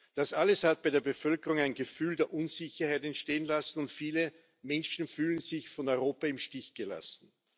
Das alles hat bei der Bevölkerung ein Gefühl der Unsicherheit entstehen lassen, und viele Menschen fühlen sich von Europa im Stich gelassen.